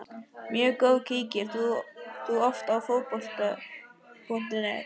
Mjög góð Kíkir þú oft á Fótbolti.net?